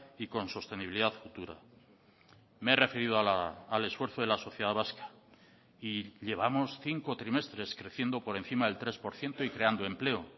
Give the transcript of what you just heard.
y con sostenibilidad futura me he referido al esfuerzo de la sociedad vasca y llevamos cinco trimestres creciendo por encima del tres por ciento y creando empleo